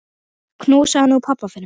Knúsaðu nú pabba fyrir mig.